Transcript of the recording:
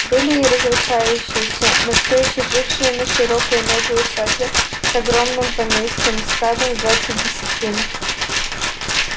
были и разрушающиеся но всё ещё жившие на широкую ногу усадьбы с огромным поместьем с садом в двадцать десятин